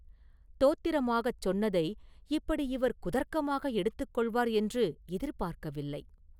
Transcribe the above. தோத்திரமாகச் சொன்னதை இப்படி இவர் குதர்க்கமாக எடுத்துக் கொள்வார் என்று எதிர்பார்க்கவில்லை.